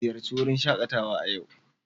Ziyarci wurin shaƙatawa a yau.